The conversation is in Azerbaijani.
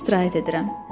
Orda istirahət edirəm.